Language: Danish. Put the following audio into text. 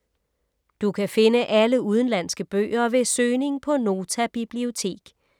Du kan finde alle udenlandske bøger ved søgning på Nota Bibliotek.